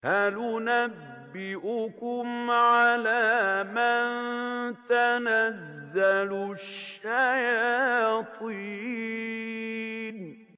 هَلْ أُنَبِّئُكُمْ عَلَىٰ مَن تَنَزَّلُ الشَّيَاطِينُ